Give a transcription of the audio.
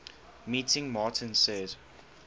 meeting martin says